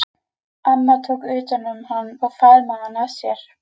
Amma tók utan um hann og faðmaði hann að sér.